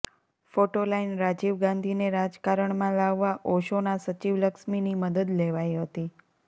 photo line Rajiv ગાંધીને રાજકારણમાં લાવવા ઓશોનાં સચિવ લક્ષ્મીની મદદ લેવાઈ હતી